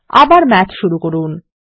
আবার মাথ শুরু করুন